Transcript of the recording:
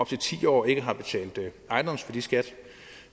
til ti år ikke har betalt ejendomsværdiskat